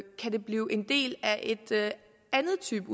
det kan blive en del af en anden type